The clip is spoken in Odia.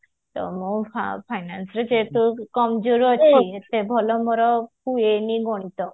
ତ ମୋର finance ରେ ସେତେ କମଜୋର ଅଛି ଏତେ ଭଲ ମୋର ହୁଏନି ଗଣିତ